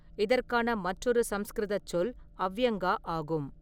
இதற்கான மற்றொரு சமஸ்கிருதச் சொல் அவ்யங்கா ஆகும்.